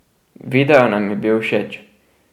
Video nam je bil všeč.